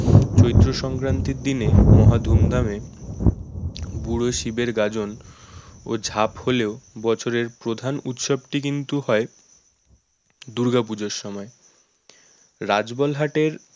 চৈত্রসংক্রান্তির দিনে মহা ধুমধামে বুড়ো শিবের গাজন ও ঝাপ হলেও বছরের প্রধান উৎসব টি কিন্তু হয় দুর্গাপূজার সময় রাজবলহাট এর